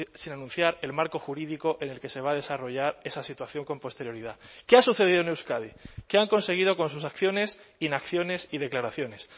sin anunciar el marco jurídico en el que se va a desarrollar esa situación con posterioridad qué ha sucedido en euskadi qué han conseguido con sus acciones inacciones y declaraciones